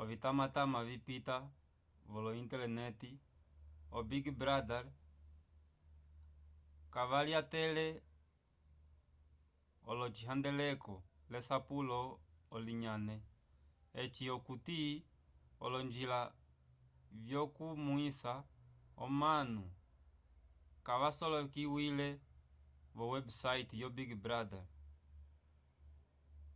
ovimatamata vipita vo-intelenete o-big brother kayalyatele l'ocihandeleko lesapulo onilayne eci okuti olonjila vyokukonomwisa omanu kavyasolekiwile vo websayte yo big brother